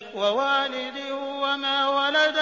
وَوَالِدٍ وَمَا وَلَدَ